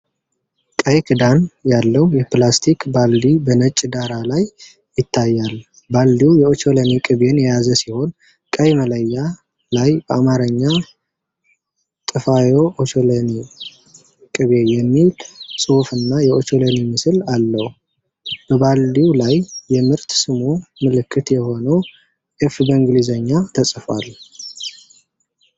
ቀይ ክዳን ያለው የፕላስቲክ ባልዲ በነጭ ዳራ ላይ ይታያል። ባልዲው የኦቾሎኒ ቅቤን የያዘ ሲሆን፣ ቀይ መለያ ላይ በአማርኛ "ጥፋዬ ኦቾሎኒ ቅቤ" የሚል ጽሑፍና የኦቾሎኒ ምስል አለው። በባልዲው ላይ የምርት ስሙ ምልክት የሆነው "F" በእንግሊዝኛ ተጽፏል።